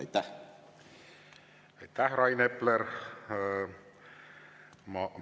Aitäh, Rain Epler!